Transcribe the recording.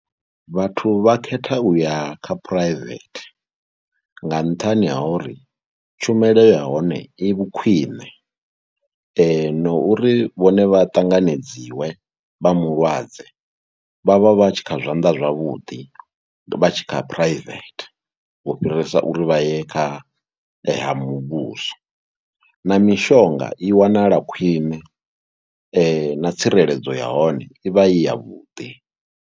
Vhathu vha khetha u ya kha phuraivethe nga nṱhani ha uri tshumelo ya hone i vhukhwiṋe ane na uri vhone vha ṱanganedziwe vha mulwadze vha vha vha tshi kha zwanḓa zwavhuḓi. Vha tshi kha phuraivethe u fhirisa uri vha ye kha ha muvhuso na mishonga i wanala khwine na tsireledzo ya hone i vha i yavhuḓi.